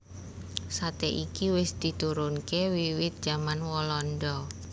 Sate iki wis diturunke wiwit jaman walanda